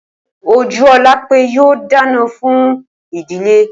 Ojúólapé yóò dáná fún ìdílé.